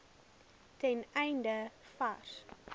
ten einde vars